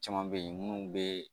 Caman be yen munnu be